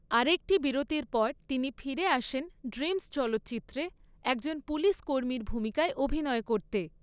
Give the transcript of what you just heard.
আরেকটি বিরতির পর তিনি ফিরে আসেন ‘ড্রিমস’ চলচ্চিত্রে, একজন পুলিশ কর্মীর ভূমিকায় অভিনয় করতে।